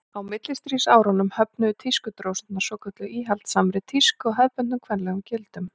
á millistríðsárunum höfnuðu tískudrósirnar svokölluðu íhaldssamri tísku og hefðbundnum kvenlegum gildum